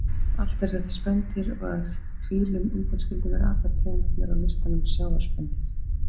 Allt eru þetta spendýr og að fílum undanskildum eru allar tegundirnar á listanum sjávarspendýr.